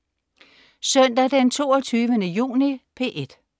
Søndag den 22. juni - P1: